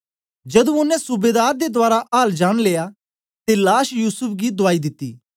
जदू ओनें सूबेदार दे दवारा हाल जानी लिया ते लाश युसूफ गी दुआई दिती